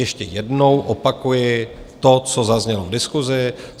Ještě jednou opakuji to, co zaznělo v diskusi.